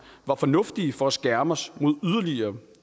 var fornuftige for at skærme os mod yderligere